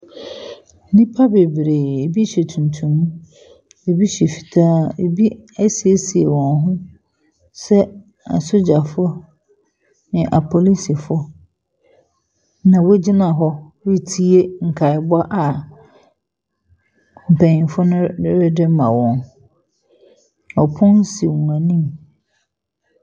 Nipa beberee, ebi hyɛ tuntum, ɛbi hyɛ fitaa, ebi e siesie wɔn ho sɛ asogyafo ne apolisofo na wogyina hɔ retie nkaebɔ a mpanyinfo no rede ma wɔn.